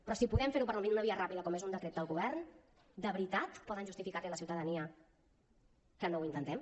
però si podem fer ho per una via ràpida com és un decret del govern de veritat poden justificar li a la ciutadania que no ho intentem